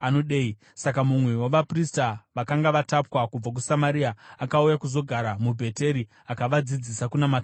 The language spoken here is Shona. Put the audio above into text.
Saka mumwe wavaprista vakanga vatapwa kubva kuSamaria akauya kuzogara muBheteri akavadzidzisa kunamata Jehovha.